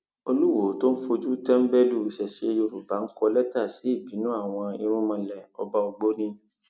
olùwòo tó ń fojú tẹńbẹlú ìṣesẹ yorùbá ń kọ lẹtà sí ìbínú àwọn irúnmọlẹọba ògbóni